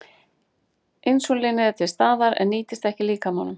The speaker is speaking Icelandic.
Insúlínið er til staðar en nýtist ekki líkamanum.